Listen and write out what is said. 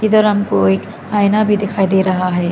इधर हमको एक आईना भी दिखाई दे रहा है।